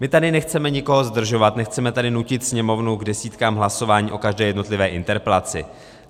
My tady nechceme nikoho zdržovat, nechceme tady nutit Sněmovnu k desítkám hlasování o každé jednotlivé interpelaci.